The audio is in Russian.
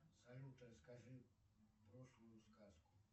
салют расскажи прошлую сказку